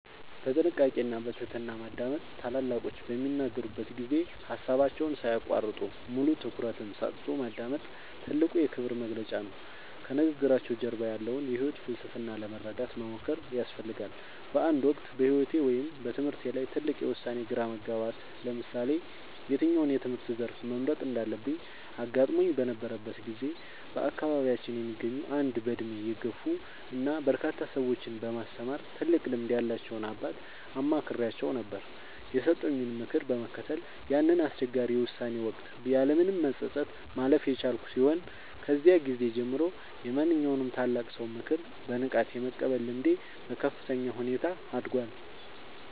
በጥንቃቄ እና በትህትና ማዳመጥ፦ ታላላቆች በሚናገሩበት ጊዜ ሃሳባቸውን ሳይያቋርጡ፣ ሙሉ ትኩረትን ሰጥቶ ማዳመጥ ትልቁ የክብር መግለጫ ነው። ከንግግራቸው ጀርባ ያለውን የህይወት ፍልስፍና ለመረዳት መሞከር ያስፈልጋል። በአንድ ወቅት በህይወቴ ወይም በትምህርቴ ላይ ትልቅ የውሳኔ ግራ መጋባት (ለምሳሌ የትኛውን የትምህርት ዘርፍ መምረጥ እንዳለብኝ) አጋጥሞኝ በነበረበት ጊዜ፣ በአካባቢያችን የሚገኙ አንድ በእድሜ የገፉ እና በርካታ ሰዎችን በማስተማር ትልቅ ልምድ ያላቸውን አባት አማክሬአቸው ነበር። የሰጡኝን ምክር በመከተል ያንን አስቸጋሪ የውሳኔ ወቅት ያለምንም መጸጸት ማለፍ የቻልኩ ሲሆን፣ ከዚያ ጊዜ ጀምሮ የማንኛውንም ታላቅ ሰው ምክር በንቃት የመቀበል ልምዴ በከፍተኛ ሁኔታ አድጓል።